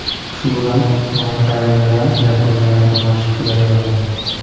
Shu bilan karyeram yakuniga yaqinlashib kelaveraman.